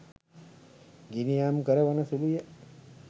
ගිනියම් කරවන සුලුය